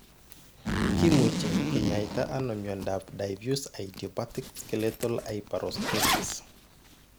Kimuche kinyaita ano miondap diffuse idiopathic skeletal hyperostosis ?